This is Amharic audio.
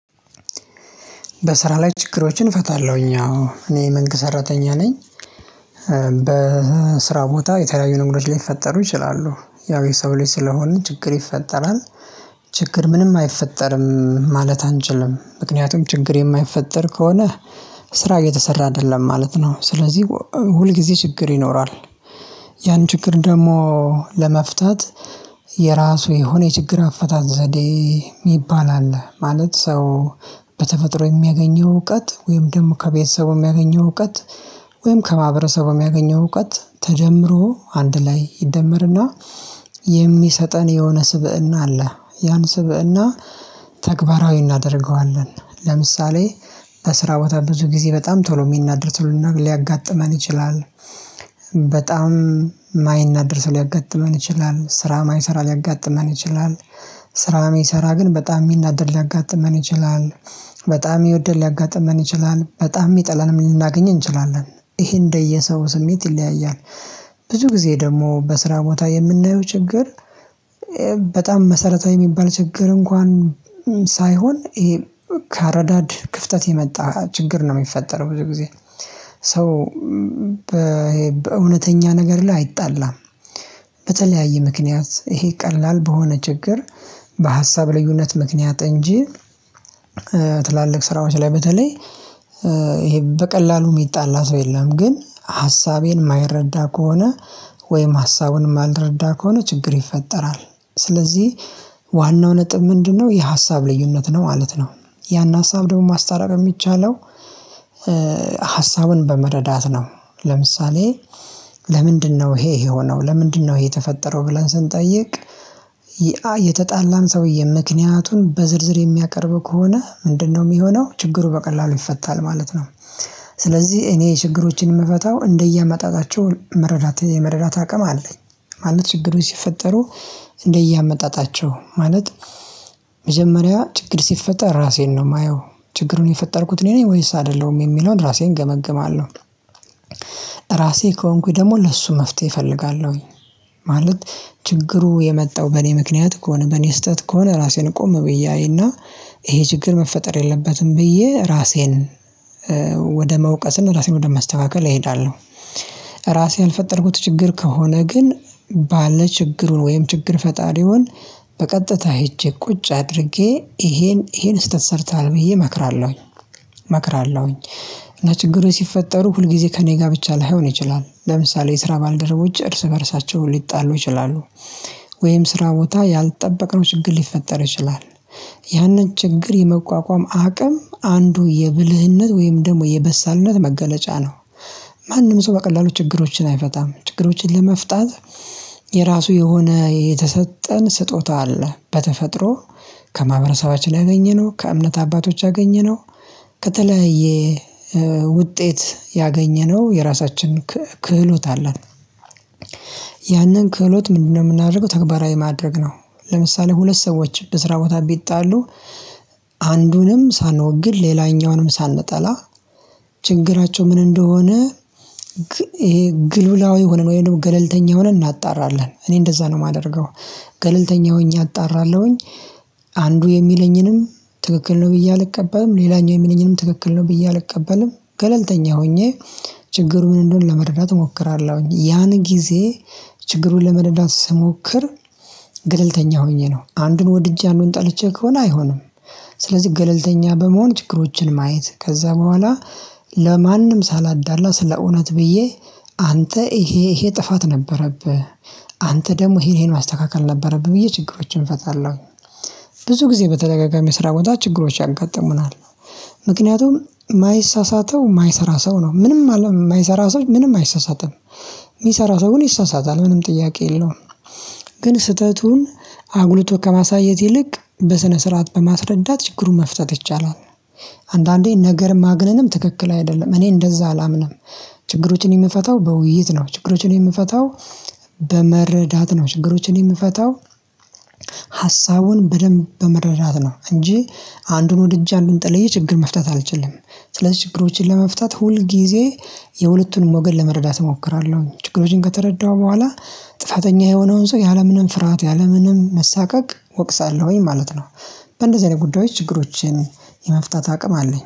በስራ ላይ ችግሮችን እፈታለሁኝ አዎ እኔ መንግስት ሰራተኛ ነኝ። በስራ ቦታ የተለያዩ ነገሮች ሊፈጠሩ ይችላሉ ያው የሰው ልጅ ስለሆንን ችግር ይፈጠራል። ችግር ምንም አይፈጠርም ማለት አንችልም ምክንያቱም ችግር የማይፈጠር ከሆነ። ስራ እየተሰራ አይደለም ማለት ነው ስለዚህ ሁልጊዜ ችግር ይኖራል። ያን ችግር ደግሞ ለመፍታት የራሱ የሆነ የችግር አፈታት ዘዴ የሚባል አለ ማለት ሰው። በተፈጥሮ የሚያገኘው እውቀት ወይም ደግሞ ከቤተሰቡ የሚያገኘው እውቀት። ወይም ከማህበረሰቡ የሚያገኘው እውቀት ተደምሮ አንድ ላይ ይደመርና የሚሰጠን የሆነ ስብእና አለ። ያን ስብእና ተግባራዊ እናደርገዋለን። ለምሳሌ በስራ ቦታ ብዙ ጊዜ በጣም ቶሎ የሚናደድ ቶሎ ሊያጋጥመን ይችላል። በጣም የማይናደድ ሰው ሊያጋጥመን ይችላል ስራ የማይሰራ ሊያጋጥመን ይችላል። ስራ የሚሰራ ግን በጣም የሚናደድ ሊያጋጥመን ይችላል። በጣም የሚወደን ሊያጋጥመን ይችላል በጣም የሚጠላንም ልናገኝ እንችላለን። ይሄ እንደየሰው ስሜት ይለያያል። ብዙ ጊዜ ደግሞ በስራ ቦታ የምናየው ችግር። በጣም መሰረታዊ የሚባል ችግር እንኳን ሳይሆን ይሄ ከአረዳድ ክፍተት የመጣ ችግር ነው የሚፈጠረው ብዙ ጊዜ። ሰው በእውነተኛ ነገር ላይ አይጣላም። በተለያየ ምክንያት ይሄ ቀላል በሆነ ችግር በሀሳብ ልዩነት ምክንያት እንጂ። ትላልቅ ስራዎች ላይ በተለይ ይሄ በቀላሉ የሚጣላ ሰው የለም። ግን ሀሳቤን የማይረዳ ከሆነ ወይም ሀሳቡን የማልረዳ ከሆነ ችግር ይፈጠራል። ስለዚህ ዋናው ነጥብ ምንድነው? የሀሳብ ልዩነት ነው ማለት ነው። ያን ሀሳብ ደግሞ ማስታረቅ የሚቻለው። ሀሳብን በመረዳት ነው። ለምሳሌ ለምንድነው ይሄ የሆነው ለምንድነው ይሄ የተፈጠረው ብለን ስንጠይቅ። የተጣላን ሰውዬ ምክንያቱን በዝርዝር የሚያቀርብ ከሆነ ምንድነው? የሚሆነው ችግሩ በቀላሉ ይፈታል ማለት ነው። ስለዚህ እኔ ችግሮችን የምፈታው እንደየመጣጣቸው መረቴት የመረዳት አቅም አለኝ። ማለት ችግሮች ሲፈጠሩ እንደየአመጣጣቸው ማለት መጀመሪያ ችግር ሲፈጠር ራሴን ነው የማየው። ችግሩን የፈጠርኩት እኔ ነኝ ወይስ አይደለሁም የሚለውን ራሴን እገመግማለው። ራሴ ከሆንኩኝ ደግሞ ለእሱ መፍትሄ እፈልጋለሁኝ። ማለት ችግሩ የመጣው በኔ ምክንያት ከሆነ በኔ ስህተት ከሆነ ራሴን ቆም ብዬ አይና። ይሄ ችግር መፈጠር የለበትም ብዬ ራሴን። ወደ መውቀስ እና ራሴን ወደ መስተካከል እሄዳለሁ። ራሴ ያልፈጠርኩት ችግር ከሆነ ግን ባለችግሩን ወይም ችግር ፈጣሪውን በቀጥታ ሄጄ ቁጭ አድርጌ ይሄን ይሄን ስህተት ሰርተሃል ብዬ እመክራለሁኝ። እመክራለሁኝ እና ችግሮች ሲፈጠሩ ሁልጊዜ ከእኔ ጋር ብቻ ላይሆን ይችላል ለምሳሌ የስራ ባልደረቦች እርስ በእርሳቸው ሊጣሉ ይችላሉ። ወይም ስራ ቦታ ያልጠበቅነው ችግር ሊፈጠር ይችላል። ያንን ችግር የመቋቋም አቅም አንዱ የብልህነት ወይም ደግሞ የበሳልነት መገለጫ ነው። ማንም ሰው በቀላሉ ችግሮችን አይፈታም ችግሮችን ለመፍታት የራሱ የሆነ የተሰጠን ስጦታ አለ በተፈጥሮ። ከማህበረሰባችን ያገኘነው ከእምነት አባቶች ያገኘነው ከተለያየ ውጤት ያገኘነው የራሳችን ክህሎት አለን። ያንን ክህሎት ምንድነው? የምናደርገው ተግባራዊ ማድረግ ነው። ለምሳሌ ሁለት ሰዎች ብስራ ቦታ ቢጣሉ። አንዱንም ሳንወግን ሌላኛውንም ሳንጠላ ችግራቸው ምን እንደሆነ? ይሄ ግሉላዊ ሆነን ወይም ደግሞ ገለልተኛ ሆነን እናጣራለን እኔ እንደዛ ነው የማደርገው። ገለልተኛ ሆኜ አጣራለሁኝ። አንዱ የሚለኝንም ትክክል ነው ብዬ አልቀበልም ሌላኛው የሚለኝንም ትክክል ነው ብዬ አልቀበልም። ገለልተኛ ሆኜ ችግሩ ምን እንደሆነ ለመረዳት እሞክራለሁኝ። ያን ጊዜ ችግሩን ለመረዳት ስሞክር ገለልተኛ ሆኜ ነው አንዱን ወድጄ አንዱን ጠልቼ ከሆነ አይሆንም። ስለዚህ ገለልተኛ በመሆን ችግሮችን ማየት ከዛ በኋላ ለማንም ሳላዳላ ስለ እውነት ብዬ። አንተ ይሄ ይሄ ጥፋት ነበረብህ አንተ ደግሞ ይሄን ማስተካከል ነበረብህ ብዬ ችግሮችን እፈታለው። ብዙ ጊዜ በተደጋጋሚ ስራ ቦታ ችግሮች ያንቀጥሙናል። ምክንያቱም የማይሳሳተው የማይሰራ ሰው ነው ምንም የማይሰራ ሰው ምንም አይሳሳትም። የሚሰራ ሰው ግን ይሳሳታል ምንም ጥያቄ የለውም። ግን ስህተቱን አጉልቶ ከማሳየት ይልቅ በስነ ስርዓት በማስረዳት ችግሩን መፍታት ይቻላል። አንዳንዴ ነገር ማግነንም ትክክል አይደለም እኔ እንደዛ አላምንም። ችግሮችን የምፈታው በውይይት ነው ችግሮችን የምፈታው በመረዳት ነው ችግሮችን የምፈታው ሀሳቡን በደንብ በመረዳት ነው። እንጂ አንዱን ወድጄ አንዱን ጥለዬ ችግር መፍታት አልችልም። ስለዚህ ችግሮችን ለመፍታት ሁል ጊዜ የሁለቱን ሞገድ ለመረዳት እሞክራለሁኝ ችግሮችን ከተረዳሁ በኋላ ጥፋተኛ የሆነውን ሰው ያለምንም ፍርሃት ያለምንም መሳቀቅ እወቅሳለሁኝ ማለት ነው። በእንደዚህ አይነት ጉዳዮች ችግሮችን የመፍታት አቅም አለኝ